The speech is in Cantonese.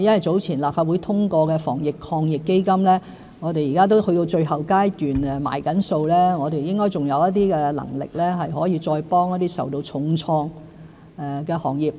早前立法會通過的防疫抗疫基金已經去到最後階段，正在結算中，我們應該還有能力可以再幫助一些受到重創的行業。